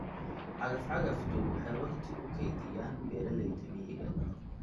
Cagaf-cagaftu waxay wakhti u kaydiyaan beeralayda miyiga.